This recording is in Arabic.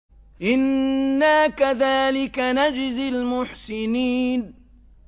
إِنَّا كَذَٰلِكَ نَجْزِي الْمُحْسِنِينَ